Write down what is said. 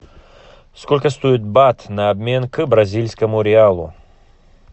сколько стоит бат на обмен к бразильскому реалу